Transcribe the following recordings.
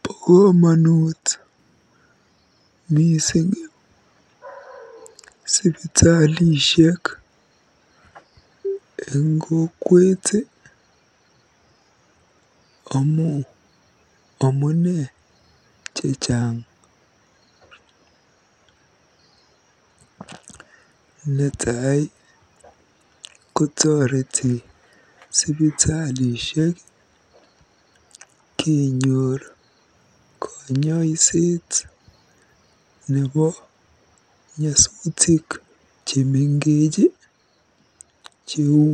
Bo komonut mising sipitalishek eng kokwet amu amune chechang. Netai kotoreti sipitalishek kenyor konyoiset nebo nyosutik chemengech cheu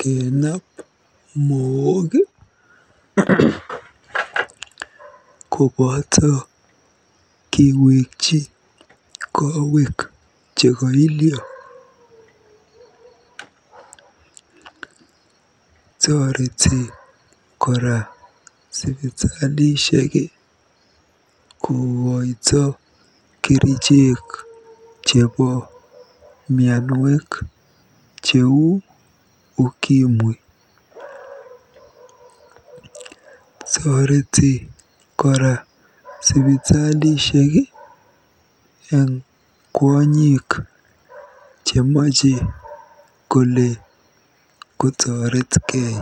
kenaab mook koboto kewekyi koweek chekoilyo. Toreti kora sipitalishek kokoito kerichek chebo mianwek cheu ukimwi. Toreti kora sipitalishek eng kwonyik chemache kole kotoretkei.